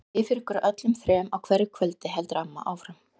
Ég bið fyrir ykkur öllum þrem á hverju kvöldi, heldur amma áfram.